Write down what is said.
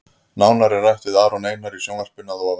Nánar er rætt við Aron Einar í sjónvarpinu að ofan.